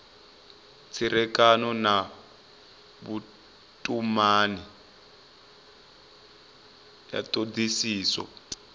tserekano na vhutumani ya thodisiso